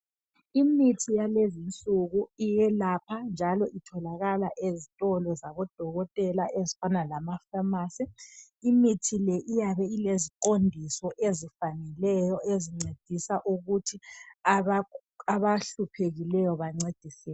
Imithi yakulezi nsuku iyelapha njalo itholakala ezitolo zabodokotela ezifana lamafamasi imithi le iyabe ileziqondiso ezifaneleyo ezincedisa ukuthi abahluphekileyo bancediseke.